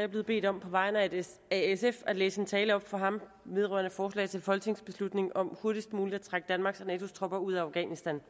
jeg blevet bedt om på vegne af sf at læse en tale op fra ham vedrørende forslag til folketingsbeslutning om hurtigst muligt at trække danmarks og natos tropper ud af afghanistan